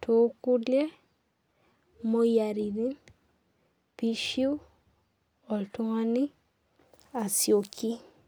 too kulie moyiaritin pee eishu oltung'ani asioki.